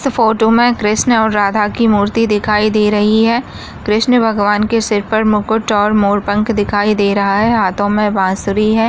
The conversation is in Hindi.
इस फोटो मे कृष्णा और राधा की फोटो दिखाई दे रही है। कृष्णा भगवान के सिर पर मुकुट और मोर पंख दिखाई दे रहा है। हाथों मे बसुरी है।